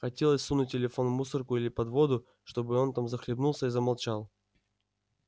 хотелось сунуть телефон в мусорку или под воду чтобы он там захлебнулся и замолчал